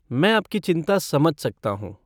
मैं आपकी चिंता समझ सकता हूँ।